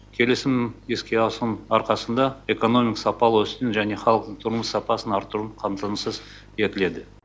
келісімнің іске асыруының арқасында экономика сапалы өсуін және халықтың тұрмыс сапасын арттыру қамтамасыз етіледі